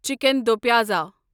chicken do pyaza